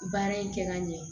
Baara in kɛ ka ɲɛ